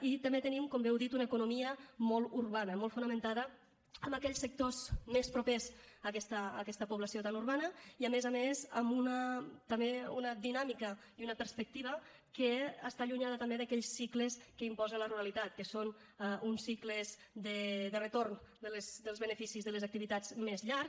i també tenim com bé heu dit una economia molt urbana molt fonamentada en aquells sectors més propers a aquesta població tan urbana i a més a més també amb una dinàmica i una perspectiva que està allunyada també d’aquells cicles que imposa la ruralitat que són uns cicles de retorn dels beneficis de les activitats més llargs